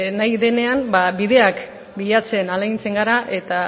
nahi dean ba bideak bilatzen ahalegintzen gara eta